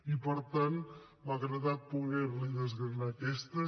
i per tant m’ha agradat poder li desgranar aquestes